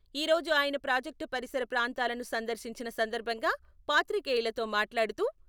ఈ రోజు అయన ప్రాజక్టు పరిసర ప్రాంతాలను సందర్శించిన సందర్భంగా పాత్రికేయులతో మాట్లాడుతూ...